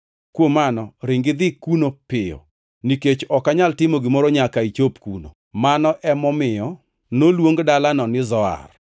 Kuom mano ring idhi kuno piyo, nikech ok anyal timo gimoro nyaka ichop kuno.” (Mano ema omiyo noluong dalano ni Zoar.)